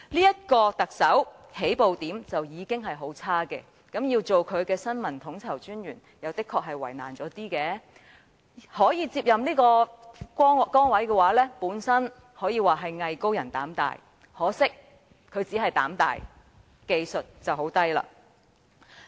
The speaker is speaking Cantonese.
這個特首的起步點已經很差，身為他的新聞統籌專員確實是比較為難，可接任這崗位的人可說是"藝高人膽大"，可惜他無疑是膽大，但技藝卻極低。